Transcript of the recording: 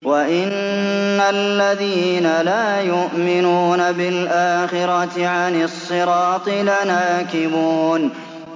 وَإِنَّ الَّذِينَ لَا يُؤْمِنُونَ بِالْآخِرَةِ عَنِ الصِّرَاطِ لَنَاكِبُونَ